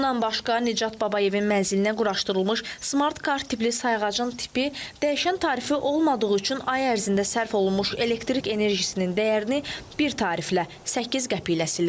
Bundan başqa Nicat Babayevin mənzilinə quraşdırılmış smart kart tipli sayğacın tipi dəyişən tarifi olmadığı üçün ay ərzində sərf olunmuş elektrik enerjisinin dəyərini bir tariflə 8 qəpiklə silir.